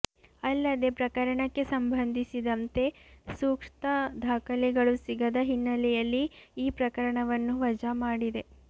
ಅಲ್ಲದೇ ಪ್ರಕರಣಕ್ಕೆ ಸಂಬಂಧಿಸಿದಂತೆ ಸೂಕ್ತ ದಾಖಲೆಗಳು ಸಿಗದ ಹಿನ್ನೆಲೆಯಲ್ಲಿ ಈ ಪ್ರಕರಣವನ್ನು ವಜಾಮಾಡಿದೆ